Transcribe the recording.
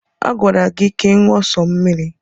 A gwara gị na gị ṅụọ sọ mmiri.